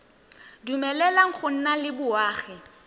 dumeleleng go nna le boagi